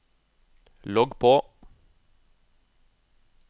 logg på